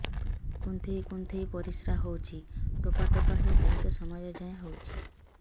କୁନ୍ଥେଇ କୁନ୍ଥେଇ ପରିଶ୍ରା ହଉଛି ଠୋପା ଠୋପା ହେଇ ବହୁତ ସମୟ ଯାଏ ହଉଛି